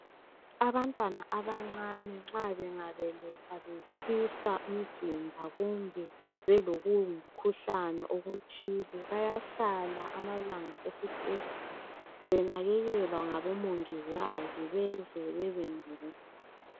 Abantwana abancani nxa bengabelethwa betshisa umzimba kumbe belokungumkhuhlani okuthize, bayahlala esibhedlela.